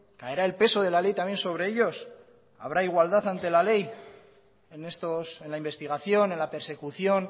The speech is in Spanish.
caerá el peso de la ley también sobre ellos habrá igualdad ante la ley en la investigación en la persecución